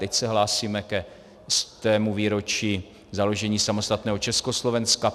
Teď se hlásíme ke stému výročí založení samostatného Československa.